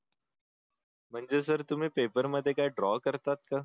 म्हणजे सर तुम्ही पेपरमध्ये ड्रॉ करतात का